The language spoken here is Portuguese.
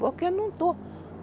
Porque eu não estou.